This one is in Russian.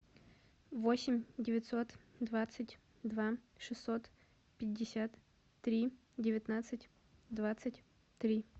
восемь девятьсот двадцать два шестьсот пятьдесят три девятнадцать двадцать три